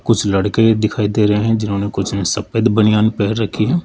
कुछ लड़के दिखाई दे रहे हैं जिन्होंने कुछ न सफेद बनियान पहन रखी--